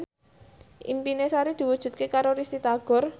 impine Sari diwujudke karo Risty Tagor